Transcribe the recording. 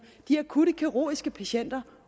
de akutte kirurgiske patienter